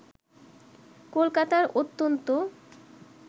কলকাতার অত্যন্ত